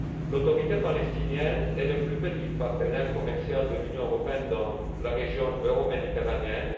L'Autorité palestinienne est le plus petit partenaire commercial de l'Union européenne dans la région euroméditerranéenne.